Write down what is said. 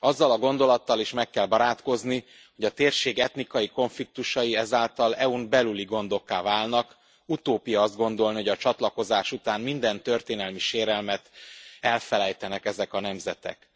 Azzal a gondolattal is meg kell barátkozni, hogy a térség etnikai konfliktusai ezáltal EU n belüli gondokká válnak, utópia azt gondolni, hogy a csatlakozás után minden történelmi sérelmet elfelejtenek ezek a nemzetek.